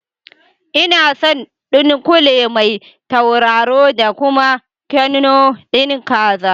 Inason ɗunkule Mai tauraro da kuma knor ɗin kaza